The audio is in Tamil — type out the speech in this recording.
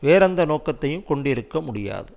வேறெந்த நோக்கத்தையும் கொண்டிருக்க முடியாது